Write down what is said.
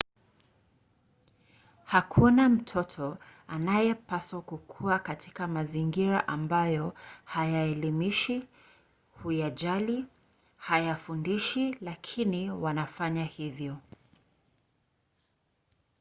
hakuna mtoto anayepaswa kukua katika mazingira ambayo hayaelimishi huyajali hayafundishi lakini wanafanya hivyo